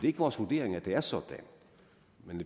ikke vores vurdering at det er sådan